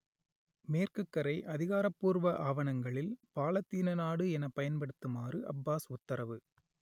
மேற்குக் கரை அதிகாரபூர்வ ஆவணங்களில் பாலத்தீன நாடு எனப் பயன்படுத்துமாறு அப்பாஸ் உத்தரவு